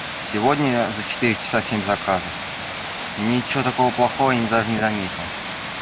сегодня за четыре часа семь заказов ничего такого плохого не даже не заметил